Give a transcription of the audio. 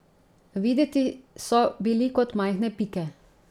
Videti so bili kot majhne pike.